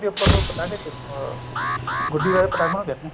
ਜਾਂਦੀ ਉੱਪਰ ਨੂੰ ਪਤੰਗ ਚ ਅਹ ਗੁੱਡੀ ਵੈਸੇ ਪਤੰਗ ਨੂੰ ਕਹਿਨੇ ਆ